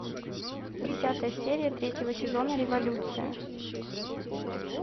десятая серия третьего сезона революция